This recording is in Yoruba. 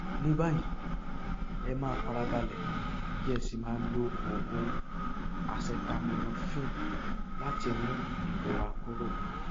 a lè ṣe iṣẹ abẹ fún àrùn jẹjẹrẹ inú ẹdọfóró tó wà ní ìpele kejì